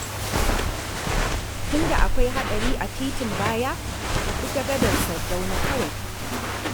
Tunda akwai haɗari a titin baya, ka bi ta gadar Sardauna kawai.